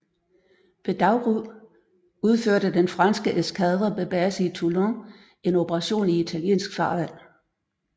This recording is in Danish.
Ved daggry udførte den franske eskadre med base i Toulon en operation i italiensk farvand